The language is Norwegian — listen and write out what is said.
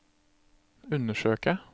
undersøke